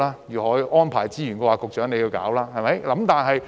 如何安排資源，便由局長處理。